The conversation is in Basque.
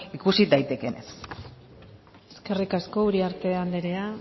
ikusi daitekeenez eskerrik asko uriarte anderea